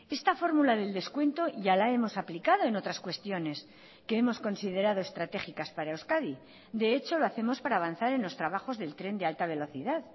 esta fórmula del descuento ya la hemos aplicado en otras cuestiones que hemos considerado estratégicas para euskadi de hecho lo hacemos para avanzar en los trabajos del tren de alta velocidad